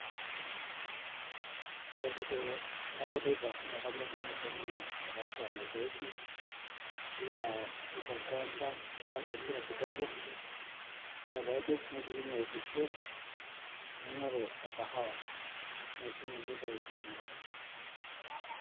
Ore oshi teneeku teipa naake anyor nanu ashomo ataasa mazoezi nalo akwet tenkiwanja naar empira kidogo, ore paidip nashukunye aitukuo naing'oru orkahawa neishunye enteipa aai inakata.